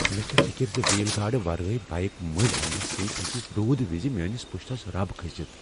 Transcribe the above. مےٚ چھےٚ فکر ز وِیل گارڈ ورٲیۍ بائیک مٔلۍ اننہ سۭتۍ ہیٚکہ رُودٕ وز میانس پشتس رب کھسِتھ۔